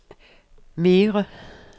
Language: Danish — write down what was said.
mere